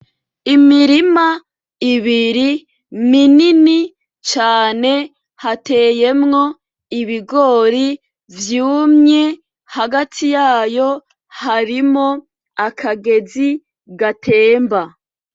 Imirima ibiri minini cane hateyemwo ibigori vyumye hagati yayo harimo akagezi gatemba